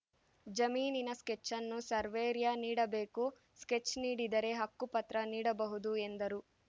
ಜಮೀನಿನ ಸ್ಕೆಚ್‌ ಅನ್ನು ಸೇರ್ವೆರಿಯ ನೀಡಬೇಕು ಸ್ಕೆಚ್‌ ನೀಡಿದರೆ ಹಕ್ಕುಪತ್ರ ನೀಡಬಹುದು ಎಂದರು